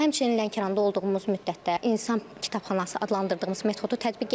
Həmçinin Lənkəranda olduğumuz müddətdə İnsan kitabxanası adlandırdığımız metodu tətbiq etdik.